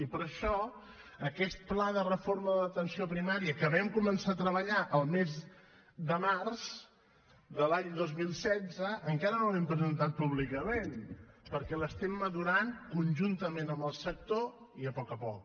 i per això aquest pla de reforma de l’atenció primària que vam començar a treballar el mes de març de l’any dos mil setze encara no l’hem presentat públicament perquè l’estem madurant conjuntament amb el sector i a poc a poc